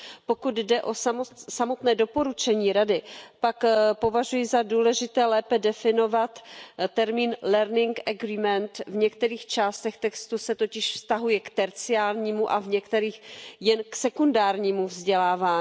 Pokud jde o samotné doporučení Rady, pak považuji za důležité lépe definovat termín learning agreement v některých částech textu se totiž vztahuje k terciálnímu a v některých jen k sekundárnímu vzdělávání.